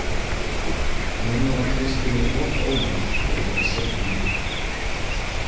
Núna var Kristínu of ómótt til að geta setið lengur.